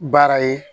Baara ye